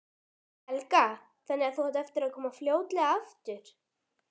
Helga: Þannig að þú átt eftir að koma fljótlega aftur?